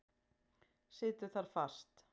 Situr þar fast.